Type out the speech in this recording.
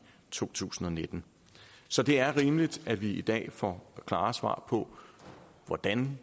to tusind og nitten så det er rimeligt at vi i dag får klare svar på hvordan